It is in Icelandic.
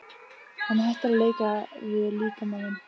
Hann hættir að leika við líkama minn.